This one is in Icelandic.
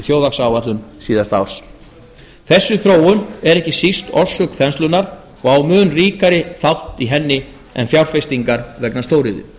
þjóðhagsáætlun síðasta árs þessi þróun er ekki sísta orsök þenslunnar og á mun ríkari þátt í henni en fjárfestingar vegna stóriðju